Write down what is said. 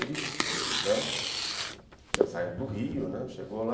Ele, né, tinha saído do Rio, né, chegou lá.